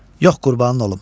Yox qurbanın olum.